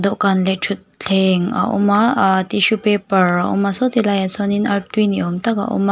dawhkan leh thutthleng a awm a aaa tissue paper a awm a saw ti laiah sawnin artui ni awm tak a awm a.